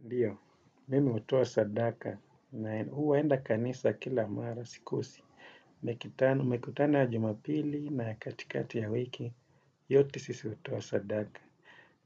Ndio mimi hutoa sadaka na huenda kanisa kila mara sikosi. Mikutano ya jumapili na katikati ya wiki, yote sisi hutoa sadaka.